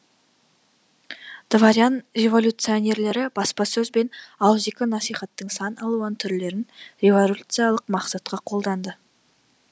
дворян революционерлері баспасөз бен ауыз екі насихаттың сан алуан түрлерін революциалық мақсатқа қолданды